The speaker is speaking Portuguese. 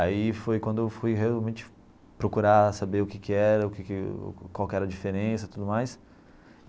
Aí foi quando eu fui realmente procurar saber o que que era, o que que qual que era a diferença e tudo mais.